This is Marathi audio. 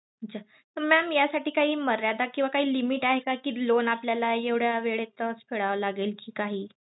अच्छा Mam यासाठी काही मर्यादा किंवा काही limit आहे का कि loan आपल्याला एवढ्या वेळेतच फेडावे लागेल कि काही?